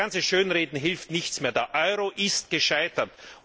Das ganze Schönreden hilft nichts mehr Der Euro ist gescheitert.